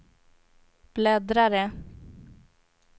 bläddrare